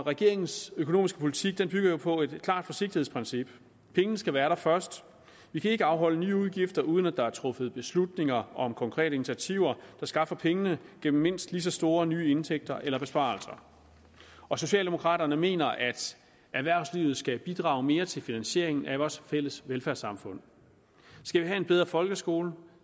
regeringens økonomiske politik bygger jo på et klart forsigtighedsprincip pengene skal være der først vi kan ikke afholde nye udgifter uden at der er truffet beslutninger om konkrete initiativer der skaffer pengene gennem mindst lige så store nye indtægter eller besparelser og socialdemokraterne mener at erhvervslivet skal bidrage mere til finansieringen af vores fælles velfærdssamfund skal vi have en bedre folkeskole